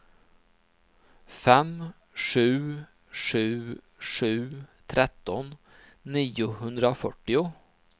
fem sju sju sju tretton niohundrafyrtio